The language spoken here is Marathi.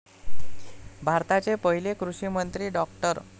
भारताचे पहिले कृषिमंत्री डॉ.